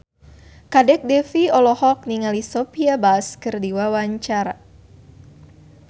Kadek Devi olohok ningali Sophia Bush keur diwawancara